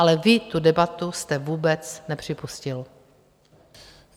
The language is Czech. Ale vy tu debatu jste vůbec nepřipustil.